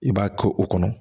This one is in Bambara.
I b'a to o kɔnɔ